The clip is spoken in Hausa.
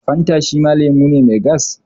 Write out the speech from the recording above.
Fanta shima lemu ne mai gas